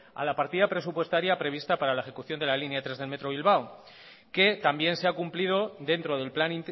a la partida presupuestaria prevista para la ejecución de la línea tres del metro bilbao que también se ha cumplido dentro del plan